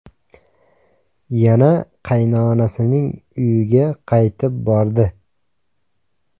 Yana qaynonasining uyiga qaytib bordi.